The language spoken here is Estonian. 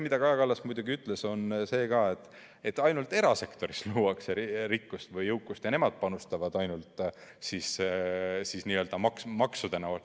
Kaja Kallas ütles veel, et ainult erasektoris luuakse rikkust või jõukust ja nemad panustavad maksudena.